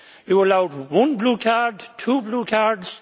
You allowed one blue card, two blue cards